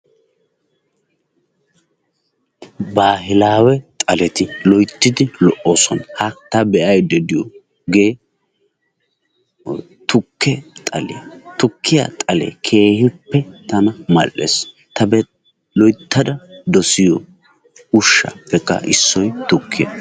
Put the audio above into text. Baahilawe xaleti loyttidi lo"oosona. Ha ta be'aydda diyooge tukkiya xaliyaa, tukkiyaa xale keehippe tana mal"ees. Ta loyttada dossiyo ushshappekka issoy tukkiya.